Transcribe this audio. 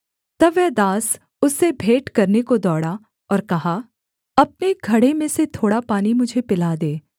तब वह दास उससे भेंट करने को दौड़ा और कहा अपने घड़े में से थोड़ा पानी मुझे पिला दे